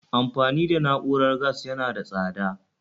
Amfani da na'urar gas yana da tsada